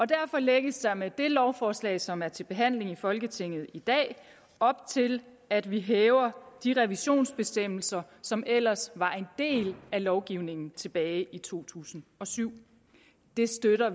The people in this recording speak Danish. derfor lægges der med det lovforslag som er til behandling i folketinget i dag op til at vi hæver de revisionsbestemmelser som ellers var en del af lovgivningen tilbage i to tusind og syv det støtter